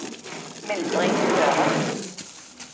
Mildrid Sørum